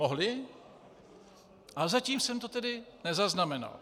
Mohli, ale zatím jsem to tedy nezaznamenal.